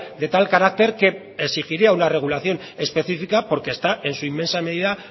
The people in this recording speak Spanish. de tal carácter que exigiría una regulación específica porque está en su inmensa medida